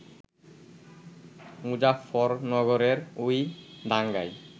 মুজাফফরনগরের ওই দাঙ্গায়